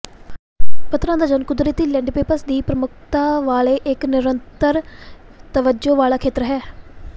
ਪੱਧਰਾਂ ਦਾ ਜ਼ੋਨ ਕੁਦਰਤੀ ਲੈਂਡੈਪੈਪਸ ਦੀ ਪ੍ਰਮੁੱਖਤਾ ਵਾਲੇ ਇੱਕ ਨਿਰੰਤਰ ਤਵੱਜੋ ਵਾਲਾ ਖੇਤਰ ਹੈ